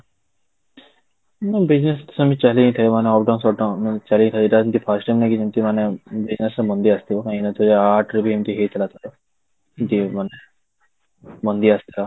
ହଁ, business ତ ସେମିତି ଚାଲି ହିଁ ଥାଏ ମାନେ uptodown shutdown ଚାଲି ହିଁ ଥାଏ first time ଲାଗି ଏମିତି ମାନେ ଆସିଥିବ କାହିଁକି ନା ଦୁଇ ହଜାର ଆଠ ରେ ବି ଏମିତି ହେଇଥିଲା ଥରେ ଏମିତି ମାନେ ଆସିଥିଲା